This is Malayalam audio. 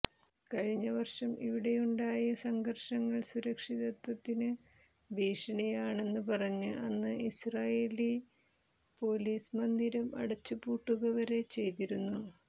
കഴിഞ്ഞ വർഷം ഇവിടെയുണ്ടായ സംഘർഷങ്ങൾ സുരക്ഷിതത്വത്തിന് ഭീഷണിയാണെന്ന് പറഞ്ഞ് അന്ന് ഇസ്രയേലി പൊലീസ് മന്ദിരം അടച്ച് പൂട്ടുക വരെ ചെയ്തിരുന്നു